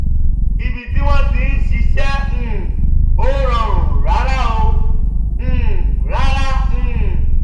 ibi tí wọ́n ti ń ṣiṣẹ́ um ò rọrùn rárá. um rárá. um